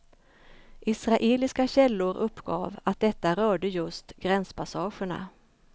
Israeliska källor uppgav att detta rörde just gränspassagerna.